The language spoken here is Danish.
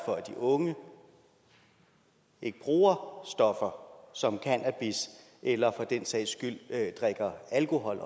for at de unge ikke bruger stoffer som cannabis eller for den sags skyld drikker alkohol